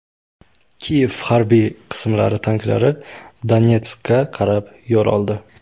Kiyev harbiy qismlari tanklari Donetskka qarab yo‘l oldi.